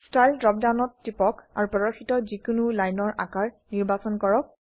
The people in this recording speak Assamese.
ষ্টাইল ড্ৰপ ডাউনত টিপক আৰু প্ৰদৰ্শিত যি কোনো লাইনৰ আকাৰ নিৰ্বাচন কৰক